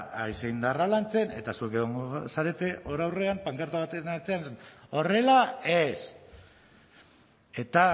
haize indarra lantzen eta zuek egongo zarete hor aurrean pankarta baten atzean horrela ez eta